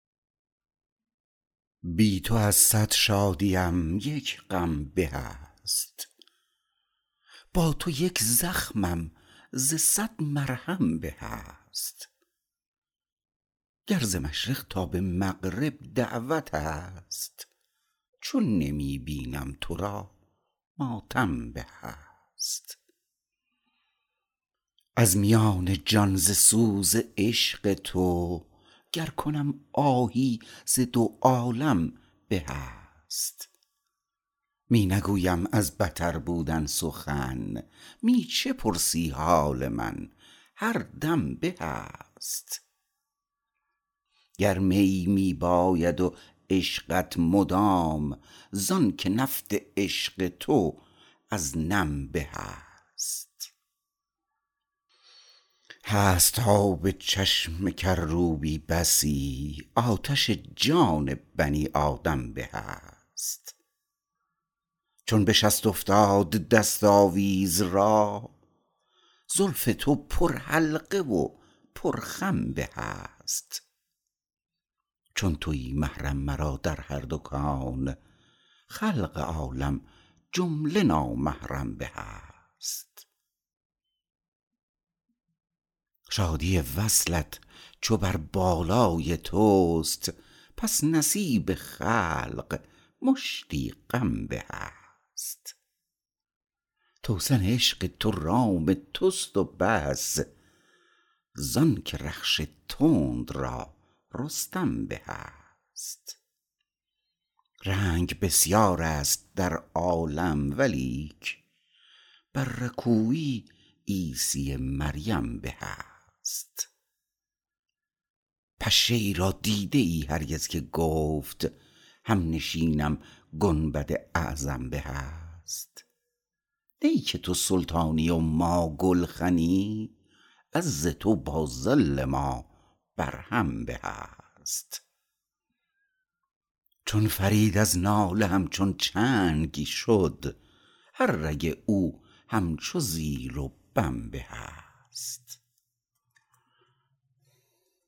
بی تو از صد شادیم یک غم به است با تو یک زخمم ز صد مرهم به است گر ز مشرق تا به مغرب دعوت است چون نمی بینم تو را ماتم به است از میان جان ز سوز عشق تو گر کنم آهی ز دو عالم به است می نگویم از بتر بودن سخن می چه پرسی حال من هر دم به است گرمی می باید و عشقت مدام زانکه نفت عشق تو از نم به است هست آب چشم کروبی بسی آتش جان بنی آدم به است چون بشست افتاد دست آویز را زلف تو پر حلقه و پر خم به است چون تویی محرم مرا در هر دو کون خلق عالم جمله نامحرم به است شادی وصلت چو بر بالای توست پس نصیب خلق مشتی غم به است توسن عشق تو رام توست و بس زانکه رخش تند را رستم به است رنگ بسیار است در عالم ولیک بر رکوی عیسی مریم به است پشه ای را دیده ای هرگز که گفت همنشینم گنبد اعظم به است نی که تو سلطانی و ما گلخنی عز تو با ذل ما بر هم به است چون فرید از ناله همچون چنگ شد هر رگ او همچو زیر و بم به است